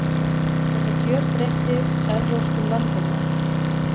Þetta gjörbreytti evrópskum landbúnaði.